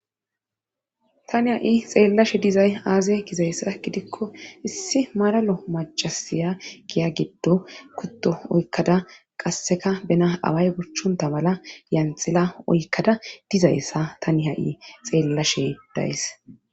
tani ha'i xeellashe dizay aaze gizayssa gidikko issi maralo macasiya giya giddo kutto oykkada qasseka bena away bochchonta bala yanxila oykkada dizayssa tani ha'i xeellashe days